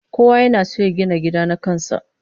Kowa yana son ya gina gida na kan sa